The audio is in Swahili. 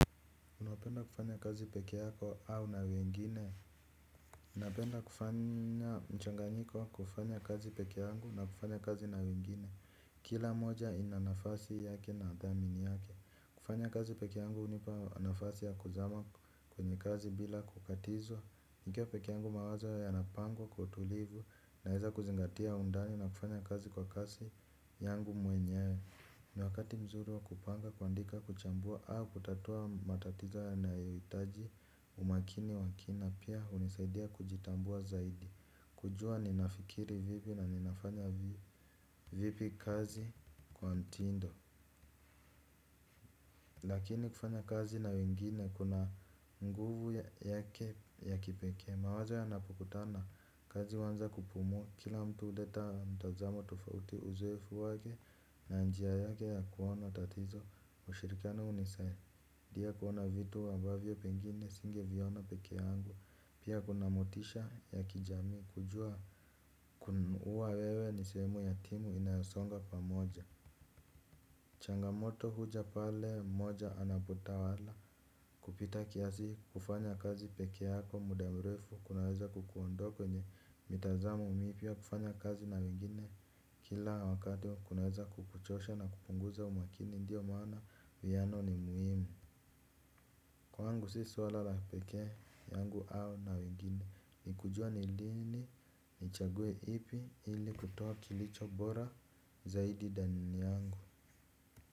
Unapenda kufanya kazi peke yako au na wengine? Napenda kufanya mchanganyiko wa kufanya kazi peke yangu na kufanya kazi na wengine. Kila moja ina nafasi yake na dhamini yake. Kufanya kazi peke yangu hunipa nafasi ya kuzama kwenye kazi bila kukatizwa. Nikiwa peke yangu mawazo yanapangwa kwa utulivu naweza kuzingatia undani na kufanya kazi kwa kasi yangu mwenyewe. Ni wakati nzuri wa kupanga, kuandika, kuchambua au kutatua matatizo yanayohitaji umakini wa kina. Pia hunisaidia kujitambua zaidi. Kujua ninafikiri vipi na ninafanya vipi kazi kwa mtindo. Lakini kufanya kazi na wengine kuna nguvu yake ya kipekee. Mawazo yanapokutana, kazi huanza kupumua, kila mtu huleta mtazamo tofauti, uzoefu wake na njia yake ya kuona tatizo, ushirikano unisai. Dia kuona vitu ambavyo pengine singeviona peke yangu, pia kuna motisha ya kijamii kujua kuwa wewe ni sehemu ya timu inayosonga pamoja. Changamoto huja pale mmoja anapotawala kupita kiasi, kufanya kazi peke yako muda mrefu kunaweza kukuondoa kwenye mitazamo mipya, kufanya kazi na wengine. Kila wakati wa kunaweza kukuchosha na kupunguza umakini ndio maana uwiano ni muhimu. Kwangu si swala la peke yangu au na wengine, ni kujua ni lini, nichague ipi ili kutoa kilicho bora zaidi ndani yangu.